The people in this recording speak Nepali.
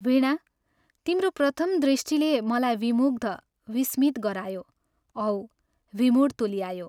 वीणा, तिम्रो प्रथम दृष्टिले मलाई विमुग्ध, विस्मित गरायो औ विमूढ तुल्यायो।